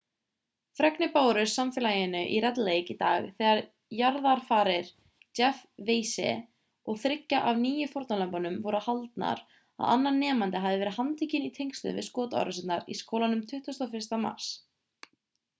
fregnir bárust samfélaginu í red lake í dag þegar jarðarfarir jeff weise og þriggja af níu fórnarlömbunum voru haldnar að annar nemandi hafi verið handtekinn í tengslum við skotárásirnar í skólanum 21. mars